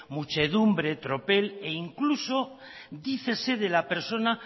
muchedumbre tropel e incluso dicese de la persona